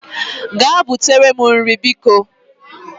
Gaa butere m nri m bikọ